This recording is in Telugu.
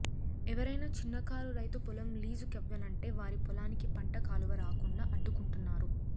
ఎవరైనా చిన్నకారు రైతు పొలం లీజు కివ్వనంటే వారి పొలానికి పంట కాలువ రాకుండా అడు ్డకుంటున్నారు